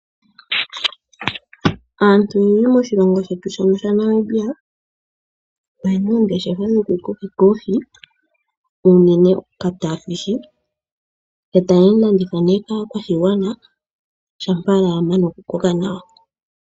Aantu oyendji moshilongo shetu shaNamibia oyena oongeshefa dhojukokeka oohi uunene okacatfish etayeyi landitha kaakwashigwana shampa ya koko nawa.